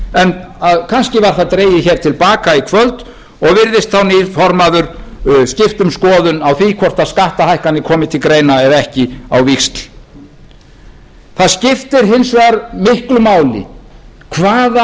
en kannski var það dregið hér til baka í kvöld og virðist þá nýr formaður skipta um skoðun á því hvort skattahækkanir komi til greina eða ekki á víxl það skiptir hins vegar miklu máli hvaða